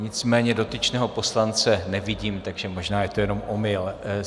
Nicméně dotyčného poslance nevidím, takže možná je to jenom omyl.